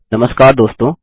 नमस्कार दोस्तों